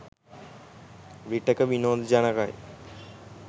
විටෙක විනෝද ජනකයි